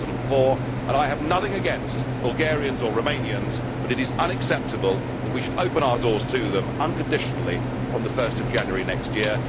2004. I have nothing against Bulgarians or Romanians, but it is unacceptable that we should open our doors to them unconditionally from 1 January next year.